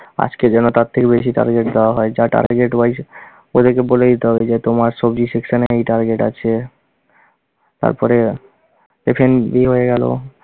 আজকে যেন তার থেকে বেশি target দেওয়া হয় যা target-wise ওদেরকে বলে দিতে হবে যে তোমার সবজি section এ এই target আছে। তারপরে F&B হয়ে গেলো।